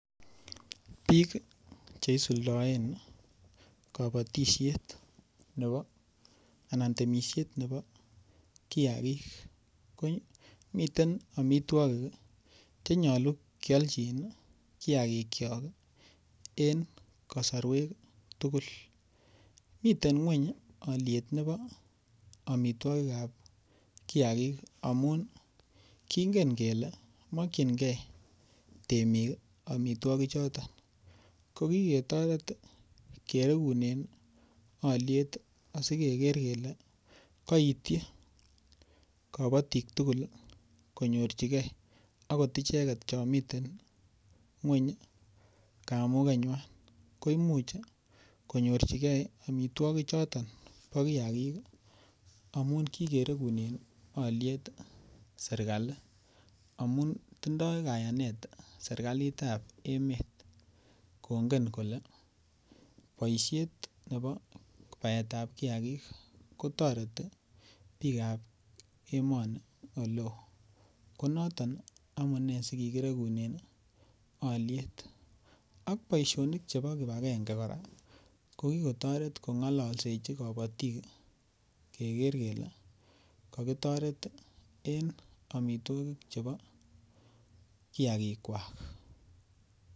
biik cheisuldoen kobotishet nebo anan temisheet nebo kiagiik ko miten omitwogik chenyolu kyolchiin iih kiagiik kyook en kosorweek tugul, miten ngweny olyeet nebo omitwogik ab kiagiik amuun kingen kele mokyingee temiik iih omitwogik choton, kokigetoret kereguneen olyeet asikegeer kele koityi kobotik tugul konyorchigee agot icheget chomiten ngweny kamugenywaan, koimuch konyorchigee omitwogik choton bo kiagiik amuun kigeregunen olyeet serkali amuun tindoo kayaneet serkaliit ab emet kongen kole boisheet nebo baeet ab kiagiik kotoreti biik ab emoni oleeo, konoton amunee sikigiregunen olyeet, ak boishonik chebo kipagenge koraa ko kigotoret kongolosechi kobotiik kegeer kele kogitoreet en omitwogik chebo kiagiik kwaak.